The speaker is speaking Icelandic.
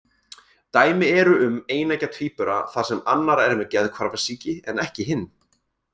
Dæmi eru um eineggja tvíbura þar sem annar er með geðhvarfasýki en ekki hinn.